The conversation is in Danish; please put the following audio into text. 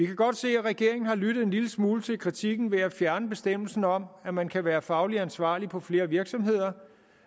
kan godt se at regeringen har lyttet en lille smule til kritikken ved at fjerne bestemmelsen om at man kan være fagligt ansvarlig på flere virksomheder